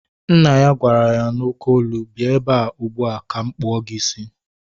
Nna ya gwara ya n'oké olu, bịa ebea ugbua ka m kpụọ gị isi!